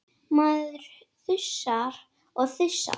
Maður þusar og þusar.